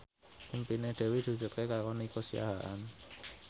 impine Dewi diwujudke karo Nico Siahaan